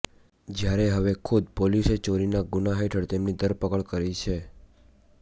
જ્યારે હવે ખુદ પોલીસે ચોરીના ગુના હેઠળ તેમની ધરપકડ કરી છે